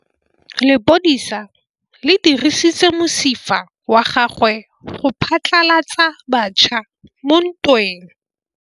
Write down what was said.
Lepodisa le dirisitse mosifa wa gagwe go phatlalatsa batšha mo ntweng.